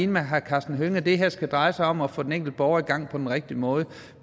med herre karsten hønge i at det her skal dreje sig om at få den enkelte borger i gang på den rigtige måde